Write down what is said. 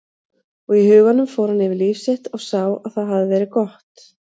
Og í huganum fór hann yfir líf sitt og sá að það hafði verið gott.